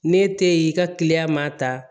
Ne te yen i ka kiliyan ma ta